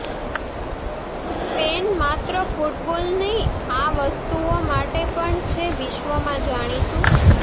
Spain માત્ર football નહીં આ વસ્તુઓ માટે પણ છે વિશ્વમાં જાણીતું